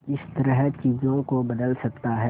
किस तरह चीजों को बदल सकता है